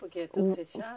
Porque é tudo fechado?